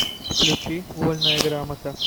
включи вольная грамота